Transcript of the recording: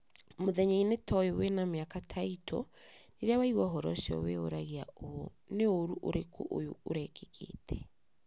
Mũthenya-inĩ ta ũyũ wĩna mĩaka ta itũ, rĩrĩa waigua ũhoro ũcio wĩyũragia ũũ: 'Nĩ ũũru ũrĩkũ ũyũ ũrekĩkĩte?'